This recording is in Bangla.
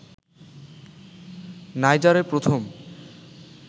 নাইজারে প্রথম